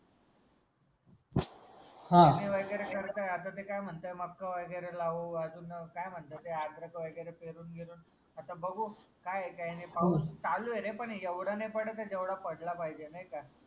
पेरणी वगैरे करताय आता ते काय म्हणताय मका वगैरे लावू अजून काय म्हणतात ते अद्रक वगैरे पेरून देऊ आता बघू काय काय नाही पाऊस चालू आहे रे पण एवढा नाही पडत जेवढा पडला पाहिजे नाही का.